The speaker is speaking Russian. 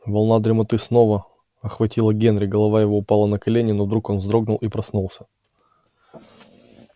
волна дремоты снова охватила генри голова его упала на колени но вдруг он вздрогнул и проснулся